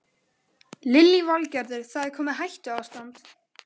Lillý Valgerður: Það er komið hættuástand?